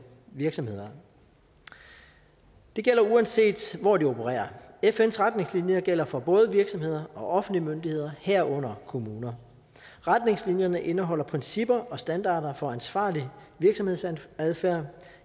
virksomheder det gælder uanset hvor de opererer fns retningslinjer gælder for både virksomheder og offentlige myndigheder herunder kommuner retningslinjerne indeholder principper og standarder for ansvarlig virksomhedsadfærd